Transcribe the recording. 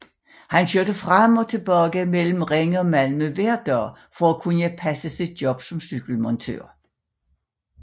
Han kørte frem og tilbage mellem Ringe og Malmø hver dag for at kunne passe sit job som cykelmontør